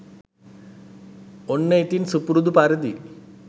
ඔන්න ඉතින් සුපුරුදු පරිදි